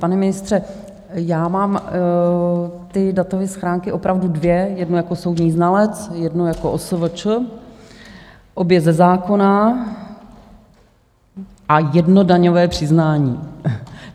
Pane ministře, já mám ty datové schránky opravdu dvě, jednu jako soudní znalec, jednu jako OSVČ - obě ze zákona - a jedno daňové přiznání.